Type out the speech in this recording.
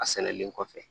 A sɛnɛlen kɔfɛ